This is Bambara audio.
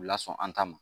U lasɔn an ta ma